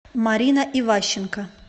марина иващенко